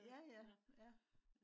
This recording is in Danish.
ja ja ja